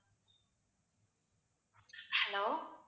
hello